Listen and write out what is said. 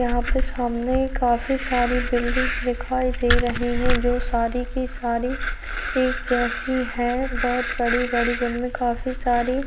यहाँ पे सामने काफी सारी बिल्डिंग्स दिखाई दे रही है जो सारी की सारी एक जैसी है बहोत बड़ी-बड़ी जमीनें काफी सारी--